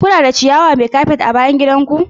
Kuna da ciyawa mai kafet a bayan gidan ku?